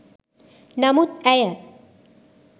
නමුත් ඇය